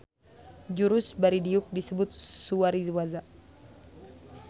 Jurus bari diuk disebut suwari-waza